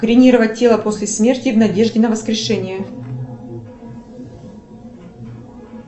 кремировать тело после смерти в надежде на воскрешение